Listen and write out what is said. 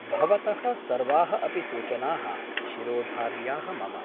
भवतः सर्वाः अपि सूचना : शिरोधार्याः मम ।